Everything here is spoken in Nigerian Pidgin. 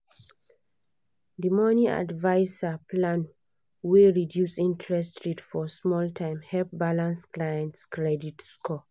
the money adviser plan wey reduce interest rate for small time help balance clients credit score.